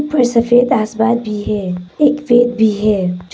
उपर सफेद आसमान भी है एक वेद भी है।